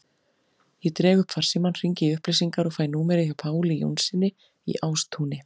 Ég dreg upp farsímann, hringi í upplýsingar og fæ númerið hjá Páli Jónssyni í Ástúni.